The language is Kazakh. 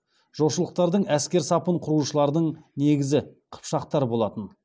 жошылықтардың әскер сапын құраушылардың негізі қыпшақтар болатын